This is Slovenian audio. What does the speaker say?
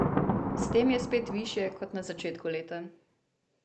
S tem je spet višje kot na začetku leta.